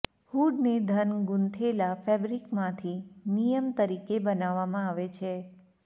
હૂડને ઘન ગૂંથેલા ફેબ્રિકમાંથી નિયમ તરીકે બનાવવામાં આવે છે